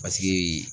Paseke